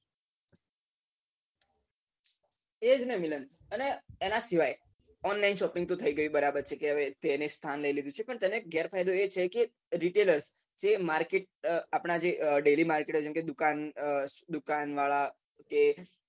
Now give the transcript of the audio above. એજ ને મિલન અને એના સિવાય online shopping તો થઇ ગઈ છે બરાબર પણ તેનો ગેર ફાયદો એ છે કે retailer એ market આપના જે daily market જેમ કે દુકાન દુકાન વાળા